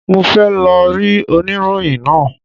Mo fẹ́ lọ rí oníròyìn náà.